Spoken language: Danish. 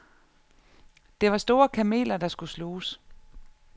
Det var store kameler, der skulle sluges.